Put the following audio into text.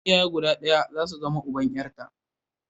Iyaye guda ɗaya za su zama uban 'yarta.